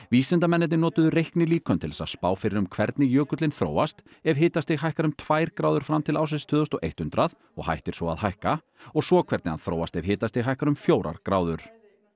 vísindamennirnir notuðu reiknilíkön til þess að spá fyrir um hvernig jökullinn þróast ef hitastig hækkar um tvær gráður fram til ársins tvö þúsund og eitt hundrað og hættir svo að hækka og svo hvernig hann þróast ef hitastig hækkar um fjórar gráður